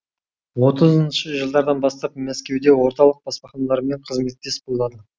отызыншы жылдардан бастап мәскеуде орталық баспаханалармен қызметтес болады